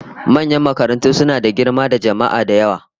Manyan makarantu suna da girma da jama'a da yawa